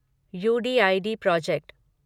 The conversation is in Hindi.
you D I D project